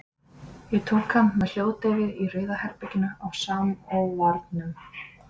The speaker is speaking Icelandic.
Ég tók hann með hljóðdeyfi í Rauða herberginu á Samóvarnum.